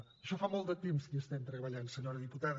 en això fa molt de temps que hi estem treballant senyora diputada